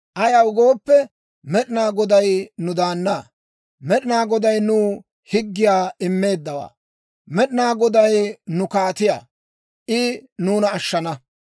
Ayaw gooppe, Med'inaa Goday nu daannaa; Med'inaa Goday nuw higgiyaa immeeddawaa. Med'inaa Goday nu kaatiyaa; I nuuna ashshana.